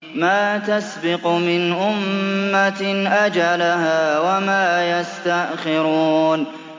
مَا تَسْبِقُ مِنْ أُمَّةٍ أَجَلَهَا وَمَا يَسْتَأْخِرُونَ